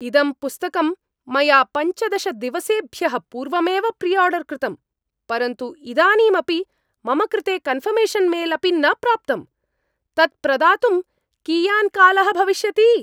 इदं पुस्तकं मया पञ्चदशदिवसेभ्यः पूर्वमेव प्रिआर्डर् कृतम्, परन्तु इदानीमपि मम कृते कन्फर्मेशन् मेल् अपि न प्राप्तम्, तत्प्रदातुं कियान् कालः भविष्यति?